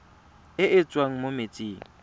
e e tswang mo metsing